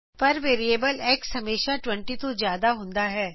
ਪਰ variable x ਹਮੇਸ਼ਾ 20 ਤੋ ਜਿਆਦਾ ਹੁੰਦਾ ਹੈ